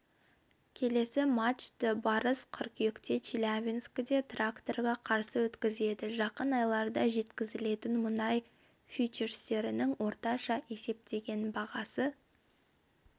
келесі матчты барыс қыркүйекте челябинскіде тракторға қарсы өткізеді жақын айларда жеткізілетін мұнай фьючерстерінің орташа есептеген бағасы